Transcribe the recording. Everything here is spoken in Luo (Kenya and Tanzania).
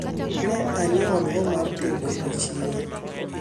ne anyiewo oduma mar tedo nyoyo e siro